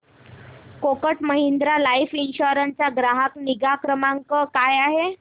Kotak Mahindra life insurance चा ग्राहक निगा क्रमांक काय आहे